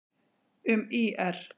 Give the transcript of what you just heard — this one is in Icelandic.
Um ÍR: